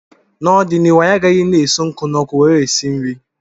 N'ọdịnihu anyị agaghị na-eso nkụ n'ọkụ nwere esi nri